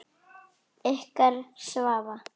Ykkar Svava.